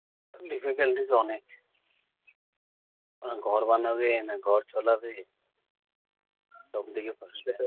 difficulties অনেক। ওরা ঘর বানাবে না ঘর চালাবে, সব দিকে খরচা।